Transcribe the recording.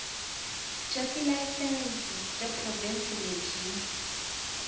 bya tilayisense bya provhinsi lebyi